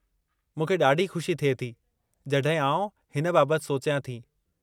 मूंखे ॾाढी खु़शी थिए थी जड॒हिं आउं हिन बाबति सोचियां थी।